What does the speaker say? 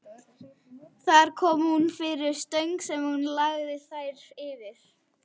Þar kom hún fyrir stöng sem hún lagði þær yfir.